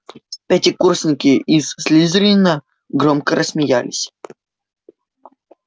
пятикурсники из слизерина громко рассмеялись